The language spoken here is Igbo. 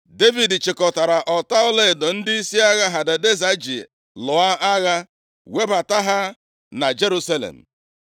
Devid chịkọtara ọta ọlaedo ndịisi agha Hadadeza ji lụọ agha webata ha na Jerusalem.